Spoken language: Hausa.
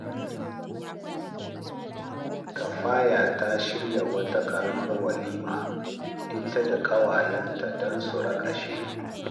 Kafaya ta shirya wata ƙaramar walima ita da ƙawayenta don su raƙashe (kafaya suna ne)